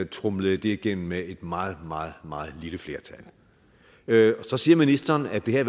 tromlede det igennem med et meget meget meget lille flertal så siger ministeren at det her